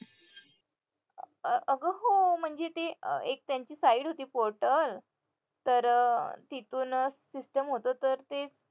अगं हो म्हणजे ते एक त्यांची side होती portal तर अं तिथून अं system होतं तर ते